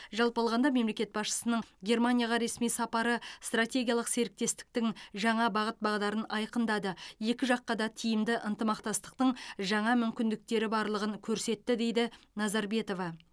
жалпы алғанда мемлекет басшысының германияға ресми сапары стратегиялық серіктестіктің жаңа бағыт бағдарын айқындады екі жаққа да тиімді ынтымақтастың жаңа мүмкіндіктері барлығын көрсетті дейді назарбетова